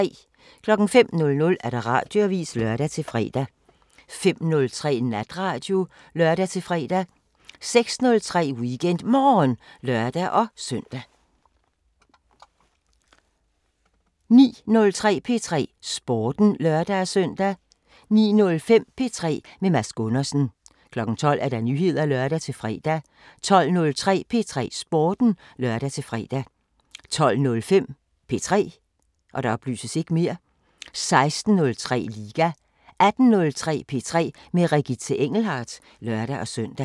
05:00: Radioavisen (lør-fre) 05:03: Natradio (lør-fre) 06:03: WeekendMorgen (lør-søn) 09:03: P3 Sporten (lør-søn) 09:05: P3 med Mads Gundersen 12:00: Nyheder (lør-fre) 12:03: P3 Sporten (lør-fre) 12:05: P3 16:03: Liga 18:03: P3 med Regitze Engelhardt (lør-søn)